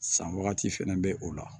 San wagati fɛnɛ bɛ o la